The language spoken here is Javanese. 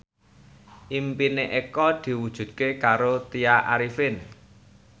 impine Eko diwujudke karo Tya Arifin